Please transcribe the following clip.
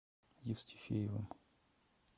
евстифеевым